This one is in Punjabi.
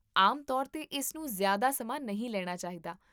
ਆਮ ਤੌਰ 'ਤੇ, ਇਸ ਨੂੰ ਜ਼ਿਆਦਾ ਸਮਾਂ ਨਹੀਂ ਲੈਣਾ ਚਾਹੀਦਾ